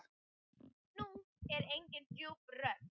Nú var engin djúp rödd.